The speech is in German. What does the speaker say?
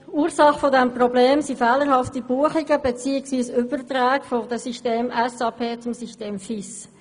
Die Ursache dieses Problems sind fehlerhafte Buchungen bzw. Überträge vom System SAP zum System FIS.